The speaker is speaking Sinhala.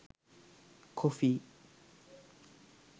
coffee